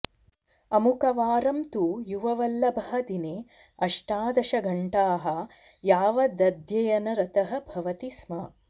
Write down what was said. अमुकवारं तु युववल्लभः दिने अष्टादशघण्टाः यावदध्ययनरतः भवति स्म